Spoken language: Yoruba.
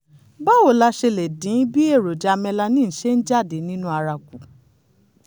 báwo la ṣe lè dín bí èròjà melanin ṣe ń jáde nínú ara kù?